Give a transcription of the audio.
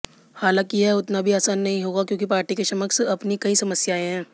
हालांकि यह उतना भी आसान नहीं होगा क्योंकि पार्टी के समक्ष अपनी कई समस्याएं हैं